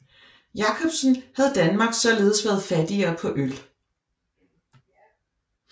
Jacobsen havde Danmark således været fattigere på øl